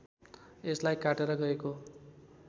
यसलाई काटेर गएको